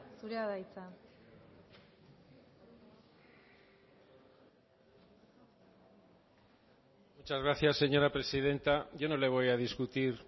zurea da hitza muchas gracias señora presidenta yo no le voy a discutir